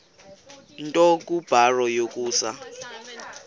nto kubarrow yokusa